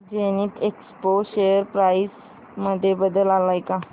Zenith Expo share price मध्ये बदल आलाय का